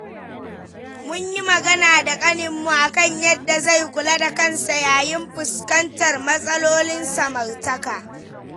Mun yi magana da kaninmu a kan yadda zai kula da kansa yayin fuskantar matsalolin samartaka.